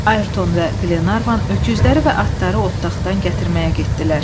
Ayrton və Qlenarvan öküzləri və atları otdaqdan gətirməyə getdilər.